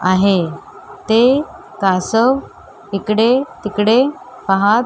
आहे ते कासव इकडे तिकडे पाहत--